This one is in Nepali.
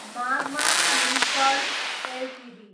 मागमा फिनकर्प एलटिडी